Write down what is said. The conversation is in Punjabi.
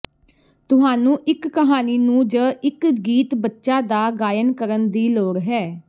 ਤੁਹਾਨੂੰ ਇੱਕ ਕਹਾਣੀ ਨੂੰ ਜ ਇੱਕ ਗੀਤ ਬੱਚਾ ਦਾ ਗਾਇਨ ਕਰਨ ਦੀ ਲੋੜ ਹੈ